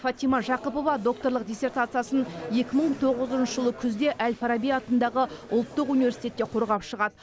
фатима жақыпова докторлық диссертациясын екі мың тоғызыншы жылы күзде әл фараби атындағы ұлттық университетте қорғап шығады